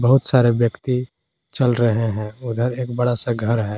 बहुत सारे व्यक्ति चल रहे हैं उधर एक बड़ा सा घर है।